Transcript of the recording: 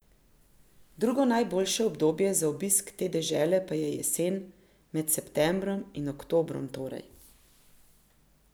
Drugo najboljše obdobje za obisk te dežele pa je jesen, med septembrom in oktobrom, torej.